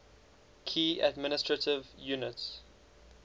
key administrative units